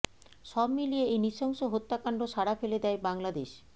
সব মিলিয়ে এই নৃশংস হত্যাকাণ্ড সাড়া ফেলে দেয় বাংলাদেশ